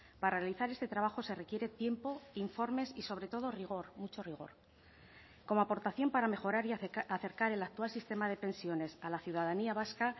para realizar este trabajo se requiere tiempo informes y sobre todo rigor mucho rigor como aportación para mejorar y acercar el actual sistema de pensiones a la ciudadanía vasca